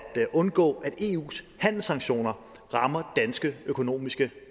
undgå at eus handelssanktioner rammer danske økonomiske